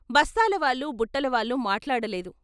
బస్తాలవాళ్ళు బుట్టలవాళ్ళు మాట్లాడలేదు.